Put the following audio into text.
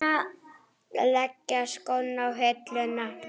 Leggja skóna á hilluna?